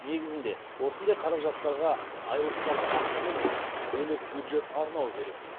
негізінде осындай қаражаттарға айлықтағы ақшаны емес бөлек бюджет арнау керек